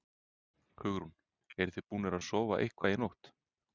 Hugrún: Eruð þið búnir að sofa eitthvað í nótt?